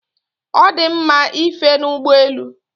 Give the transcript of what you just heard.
Ọ dị mma ife n'ụgbọ elu.